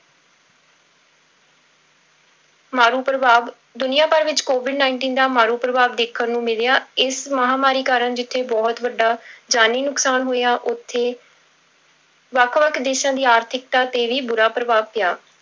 ਮਾਰੂ ਪ੍ਰਭਾਵ, ਦੁਨੀਆਂ ਭਰ ਵਿੱਚ covid nineteen ਦਾ ਮਾਰੂ ਪ੍ਰਭਾਵ ਦੇਖਣ ਨੂੰ ਮਿਲਿਆ ਇਸ ਮਹਾਂਮਾਰੀ ਕਾਰਨ ਜਿੱਥੇ ਬਹੁਤ ਵੱਡਾ ਜਾਨੀ ਨੁਕਸਾਨ ਹੋਇਆ ਉੱਥੇ ਵੱਖ ਵੱਖ ਦੇਸਾਂ ਦੀ ਆਰਥਿਕਤਾ ਤੇ ਵੀ ਬੁਰਾ ਪ੍ਰਭਾਵ ਪਿਆ।